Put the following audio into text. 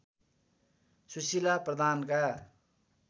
Sushila प्रधानका